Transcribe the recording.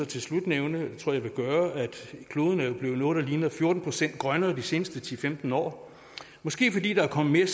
til slut nævne det tror jeg jeg vil gøre at kloden jo er blevet noget der ligner fjorten procent grønnere de seneste ti til femten år måske fordi der er kommet